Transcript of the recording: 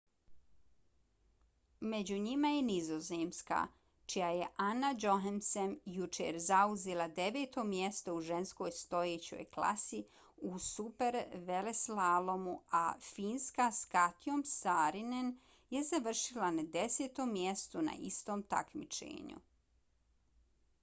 među njima je nizozemska čija je anna jochemsen jučer zauzela deveto mjesto u ženskoj stojećoj klasi u superveleslalomu a finska s katjom saarinen je završila na desetom mjestu na istom takmičenju